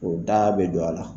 O da bɛ don a la